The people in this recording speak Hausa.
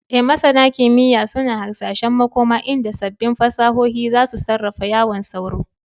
E, Masana kimiyya suna hasashen makoma inda sabbin fasahohin za su sarrafa yawan sauro.